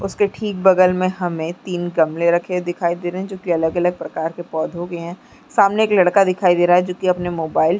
उसके ठीक बगल में हमें तीन गमले रखे हुए दिखाई दे रहे है जो की अलग-अलग प्रकार के पौधों के हैं सामने एक लड़का दिखाई दे रहा है जो कि अपने मोबाइल --